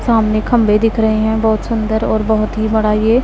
सामने खंभे दिख रहे हैं बहुत सुंदर और बहुत ही बड़ा ये--